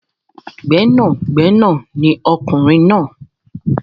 Gbẹ́nàgbẹnà ni ọkùnrin náà.